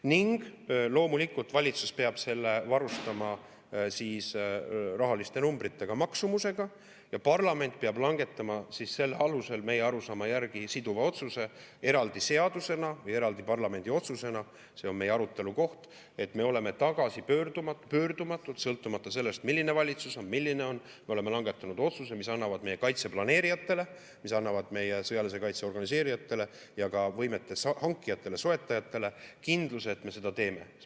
Ning loomulikult valitsus peab selle varustama rahaliste numbritega, maksumusega, ja parlament peab langetama selle alusel meie arusaama järgi siduva otsuse eraldi seadusena või eraldi parlamendi otsusena – see on meie arutelukoht –, et me oleme tagasipöördumatult, sõltumata sellest, milline valitsus on, langetanud otsused, mis annavad meie kaitse planeerijatele, meie sõjalise kaitse organiseerijatele ja võimete hankijatele-soetajatele kindluse, et me seda teeme.